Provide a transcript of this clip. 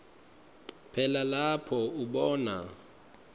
phela lapho ubona